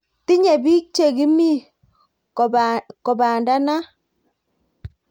Tinye bik che kimii kopandanat